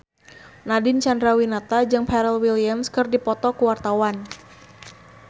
Nadine Chandrawinata jeung Pharrell Williams keur dipoto ku wartawan